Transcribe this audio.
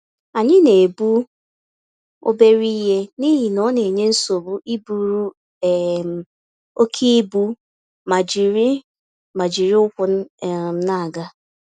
Anyị na-ebu obere ihe n'ihi na onenye nsogbu iburu um oké ibu, ma ijiri ma ijiri ụkwụ um n'aga